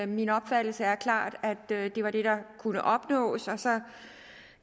min opfattelse er klart at det var det der kunne opnås og så